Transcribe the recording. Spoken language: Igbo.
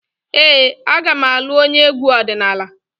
Ee, aga m alụ onye egwu ọdịnala.